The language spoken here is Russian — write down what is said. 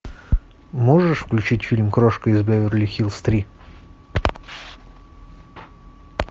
можешь включить фильм крошка из беверли хиллз три